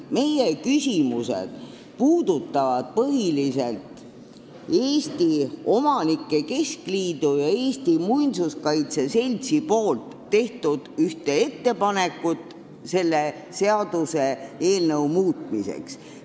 Meie küsimused puudutavad põhiliselt Eesti Omanike Keskliidu ja Eesti Muinsuskaitse Seltsi tehtud ettepanekut selle seaduseelnõu muutmiseks.